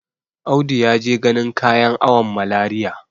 Audi ya je ganin kayan awon Malariya.